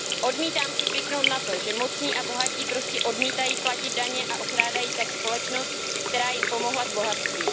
Odmítám si zvyknout na to, že mocní a bohatí prostě odmítají platit daně a okrádají tak společnost, která jim pomohla k bohatství.